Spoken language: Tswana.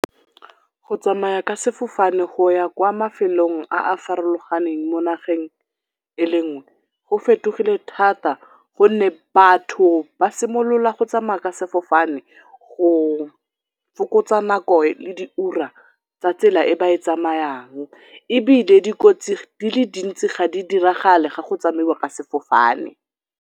Go tsamaya ka sefofane go ya kwa mafelong a a farologaneng mo nageng e le nngwe go fetogile thata gonne batho ba simolola go tsamaya ka sefofane go fokotsa nako le diura tsa tsela e ba e tsamayang ebile dikotsi di le dintsi ga di diragale ga go tsamaiwa ka sefofane.